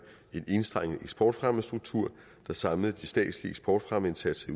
en enstrenget eksportfremmestruktur der samlede de statslige eksportfremmeindsatser